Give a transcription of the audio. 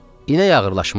İnək ağırlaşmışdı.